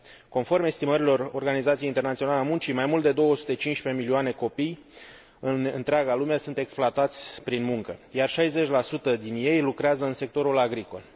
Conform estimărilor Organizației Internaționale a Muncii, mai mult de 215 milioane de copii din întreaga lume sunt exploatați prin muncă, iar 60 din ei lucrează în sectorul agricol.